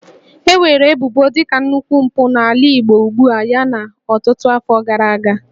E weere ebubo dị ka nnukwu mpụ n'ala Igbo ugbua yana ọtụtụ afọ gara aga